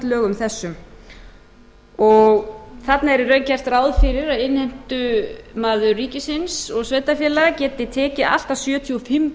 lögum þessum þarna er í raun gert ráð fyrir að innheimtumaður ríkisins og sveitarfélaga geti tekið allt að sjötíu og fimm